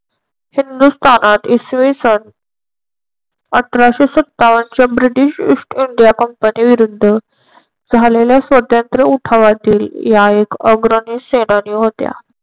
हिंदुस्तानात इसवी सन अठराशे सत्तावन च्या ब्रिटिश ईस्ट इंडिया कंपनी विरुद्ध झालेल्या स्वतंत्र उठावातील या एक अग्रणी सेनानी होत्या.